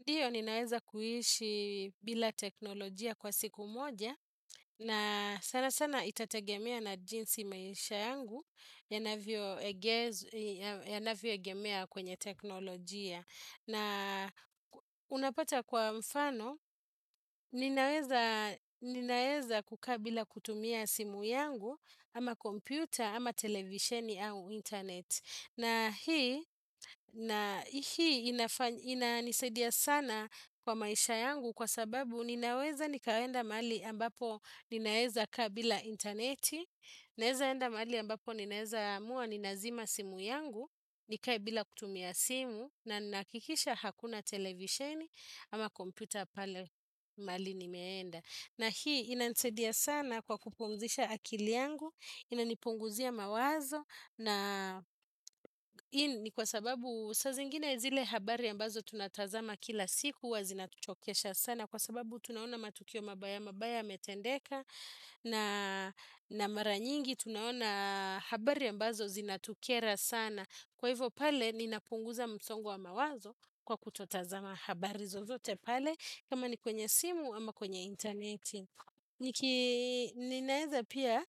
Ndiyo ninaweza kuhishi bila teknolojia kwa siku moja, na sana sana itategemea na jinsi maisha yangu yanavyo e yanavyoegemea kwenye teknolojia. Na unapata kwa mfano, ninaeza ninaeza kukaa bila kutumia simu yangu ama kompyuta ama televisheni au internet. Na hii na hii inafa inanisedia sana kwa maisha yangu kwa sababu ninaweza nikaenda mahali ambapo ninaeza kaa bila interneti, ninaeza enda mahali ambapo ninaeza amua ninazima simu yangu, nikae bila kutumia simu na ninahakikisha hakuna televisheni ama komputa pale mali nimeenda. Na hii inanisaidia sana kwa kupumzisha akili yangu, inanipunguzia mawazo na i ni kwa sababu saziingine zile habari ambazo tunatazama kila siku huwa zinatuchokesha sana kwa sababu tunaona matukio mabaya mabaya yametendeka na na mara nyingi tunaona habari ambazo zinatukera sana. Kwa hivyo pale, ninapunguza msongo wa mawazo kwa kutotazama habari zo zote pale, kama ni kwenye simu ama kwenye interneti. Niki Ninaeza pia,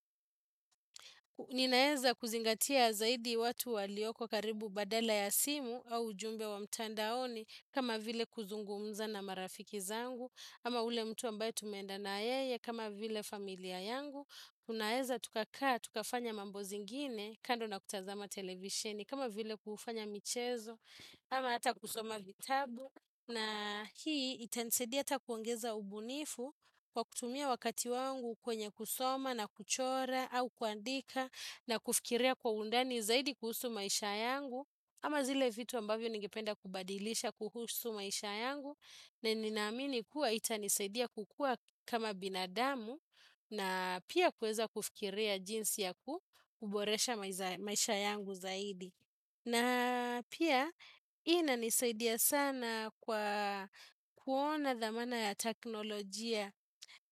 ninaeza kuzingatia zaidi watu walioko karibu badala ya simu au ujumbe wa mtandaoni, kama vile kuzungumza na marafiki zangu, ama ule mtu ambaye tumenda na yeye, kama vile familia yangu. Unaeza tukakaa, tukafanya mambo zingine kando na kutazama televisheni kama vile kufanya michezo, ama ata kusoma vitabu na hii itanisadia ata kuongeza ubunifu kwa kutumia wakati wangu kwenye kusoma na kuchora au kuandika na kufikiria kwa undani zaidi kuhusu maisha yangu ama zile vitu ambavyo ningependa kubadilisha kuhusu maisha yangu na ninamini kuwa itanisaidia kukua kama binadamu na pia kueza kufikiria jinsi ya ku kuboresha maiza maisha yangu zaidi. Na pia inanisaidia sana kwa kuona dhamana ya taknolojia.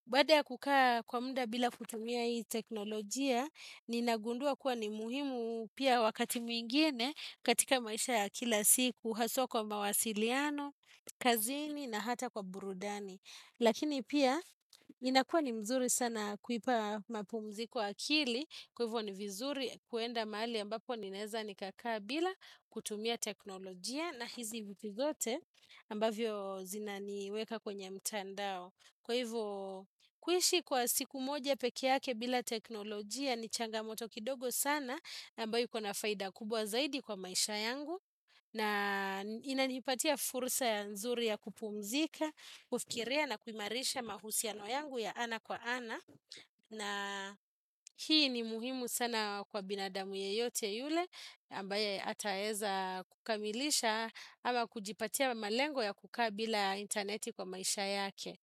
Bada ya kukaa kwa munda bila kutumia hii teknolojia, ninagundua kuwa ni muhimu pia wakati mwingine katika maisha ya kila siku. Uhasua kwa mawasiliano, kazini na hata kwa burudani. Lakini pia, inakua ni mzuri sana kuipa mapumzi akili, kwa hivyo ni vizuri kuenda mahali ambapo ninaeza nikakaa bila kutumia teknolojia na hizi vitu zote ambavyo zinaniweka kwenye mtandao. Kwa hivyo, kuishi kwa siku moja peke yake bila teknolojia ni changamoto kidogo sana ambayo iko na faida kubwa zaidi kwa maisha yangu, na inanipatia furusa ya nzuri ya kupumzika, kufikiria na kuimarisha mahusiano yangu ya ana kwa ana. Na hii ni muhimu sana kwa binadamu yeyote yule ambaye ataeza kukamilisha ama kujipatia malengo ya kukaa bila interneti kwa maisha yake.